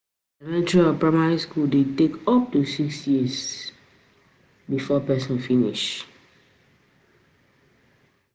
Elementary or Primary school de take up to six years